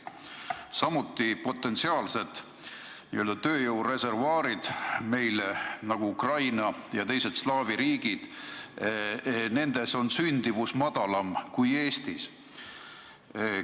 Ühtlasi on meie potentsiaalsetes n-ö tööjõu reservuaarides, nagu Ukrainas ja teistes slaavi riikides, sündivus väiksem kui Eestis.